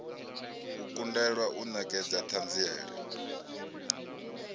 u kundelwa u nekedza thanziela